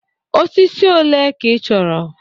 Osisi ole ka ị chọrọ?